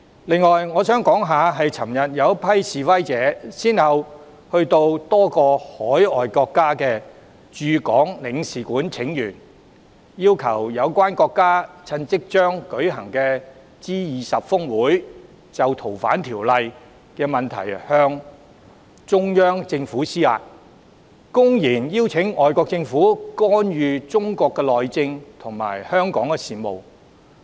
此外，昨天有一群示威者先後到多個外國駐港領事館請願，要求有關國家趁即將舉行的 G20 峰會，就修訂《逃犯條例》的問題向中央政府施壓，公然邀請外國政府干預中國內政及香港事務。